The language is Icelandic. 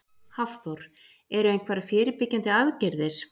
Hafþór: Eru einhverjar fyrirbyggjandi aðgerðir?